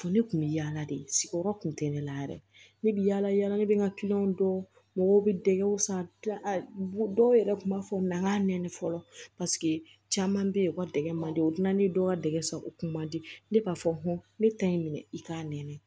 Ne kun bɛ yaala de sigiyɔrɔ kun tɛ ne la yɛrɛ ne bɛ yaala yaala ne bɛ n ka kiliyanw dɔn mɔgɔw bɛ dɛgɛw san dɔw yɛrɛ kun b'a fɔ an ka nɛni fɔlɔ paseke caman bɛ ye u ka dege mandila ne dɔw ka dɛgɛ sago o kun man di ne b'a fɔ ne ta ye minɛ i k'a nɛni